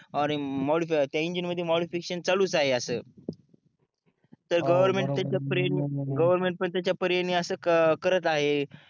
त्या इंजिन मध्ये मोडीफिकेशन चालूच आहे अस गवर्नमेंट पण त्याच्या परीने अस करत आहे